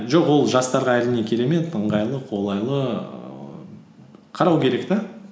жоқ ол жастарға әрине керемет ыңғайлы қолайлы ііі қарау керек те